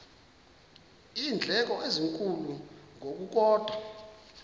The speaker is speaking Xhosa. iindleko ezinkulu ngokukodwa